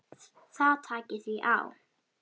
Það taki því á.